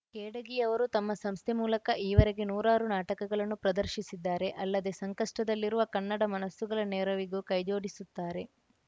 ಖೇಡಗಿ ಅವರು ತಮ್ಮ ಸಂಸ್ಥೆ ಮೂಲಕ ಈವರೆಗೆ ನೂರಾರು ನಾಟಕಗಳನ್ನು ಪ್ರದರ್ಶಿಸಿದ್ದಾರೆ ಅಲ್ಲದೆ ಸಂಕಷ್ಟದಲ್ಲಿರುವ ಕನ್ನಡ ಮನಸ್ಸುಗಳ ನೆರವಿಗೂ ಕೈಜೋಡಿಸುತ್ತಾರೆ